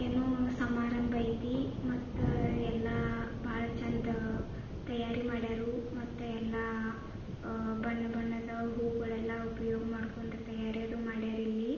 ಏನೋ ಸಮಾರಂಭ ಐತೀ ಮತ್ತು ಎಲ್ಲ ಬಹಳ ಚಂದ ತಯಾರಿ ಮಾಡ್ಯಾರು ಮತ್ತು ಎಲ್ಲಾ ಬಣ್ಣ ಬಣ್ಣದ ಹೂಗಳೆಲ್ಲ ಉಪಯೋಗ ಮಾಡ್ಕೊಂಡು ತಯಾರು ಮಾಡ್ಯಾರು ಇಲ್ಲಿ.